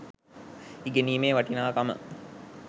ඉගෙනීමේ වටිනාකම